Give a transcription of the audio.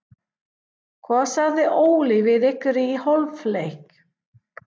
Hvað sagði Óli við ykkur í hálfleik?